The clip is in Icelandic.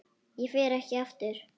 Ég fer ekki aftur.